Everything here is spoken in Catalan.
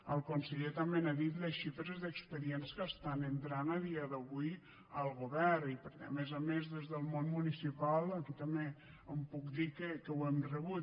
el conseller també ha dit les xifres d’expedients que estan entrant a dia d’avui al govern i perquè a més a més des del món municipal aquí també puc dir que ho hem rebut